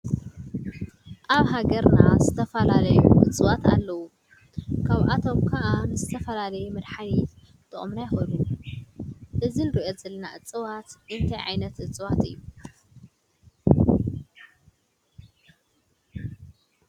ኣብ ሃገርና ዝተፈላለየ እፅዋት ኣለዉ፡፡ ካብኣቶም ከዓ ንዝተፈላለየ መድሓኒት ክጠቕሙና ይኽእሉ፡፡ እዚ ንሪኦ ዘለና እፅዋት እንታይ ዓይነት እፅዋት እዩ?